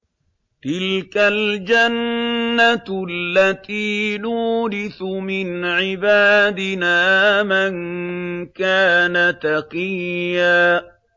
تِلْكَ الْجَنَّةُ الَّتِي نُورِثُ مِنْ عِبَادِنَا مَن كَانَ تَقِيًّا